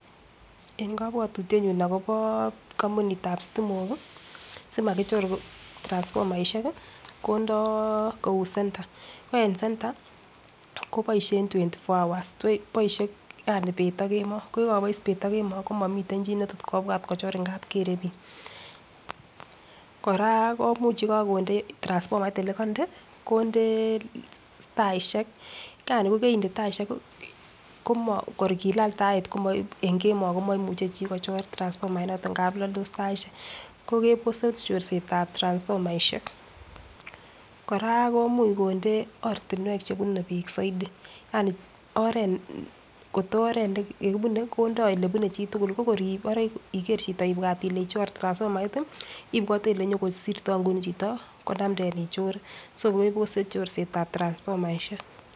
En kabatutie nyun akobo kambunit ab stimok simakichor transformerishek kondoi Kou center ko en center kobaishe twenty four hours akobais bet agemo komamiten chi netot kobwa kochor amun Gere bik kora komuch yikakonde transfomait yelekande konde taishek Yani kokakinde taishek ko ngor kilale Tait en kemo komaimuche kochor transfomait noton ntamun laldos taishek kokebos corset ab transfomait en Maisha koraa komuch konde oratinwek chebune bik Saidi Yani oret to oret nekibune konda yelebune chitugul koibare Iger Chito ibwat Kole ichor transfomait ibwate Kole nyon kosirto nguni Chito konamden ichore kebose chorset ab transfomaishek